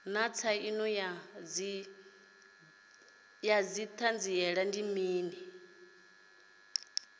naa tsaino ya didzhithala ndi mini